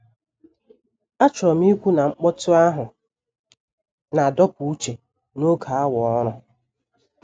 Achọrọ m ikwu na mkpọtụ ahụ na-adọpụ uche n'oge awa ọrụ.